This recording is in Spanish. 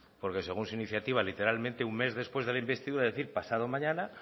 porque según su iniciativa literalmente un mes después de la investidura es decir pasado mañana